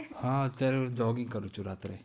હા અત્યારે હું jogging કરું છું રાત્રે.